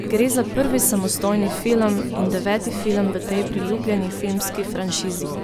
Gre za prvi samostojni film in deveti film v tej priljubljeni filmski franšizi.